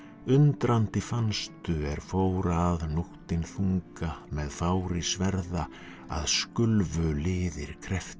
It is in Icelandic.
undrandi fannstu er fór að nóttin þunga með fári sverða að skulfu liðir